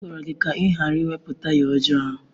M gwara gị ka ị ghara iwepụ taya ọjọọ ahụ!